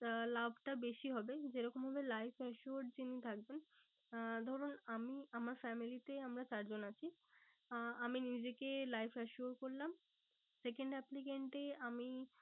আহ লাভটা বেশি হবে। যেরকম ভাবে life assured যিনি থাকবেন আহ ধরুন আমি, আমার family তে আমরা চারজন আছি। আহ আমি নিজেকে life assured করলাম second applicant এ আমি